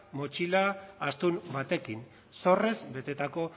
motxila astun batekin zorrez betetako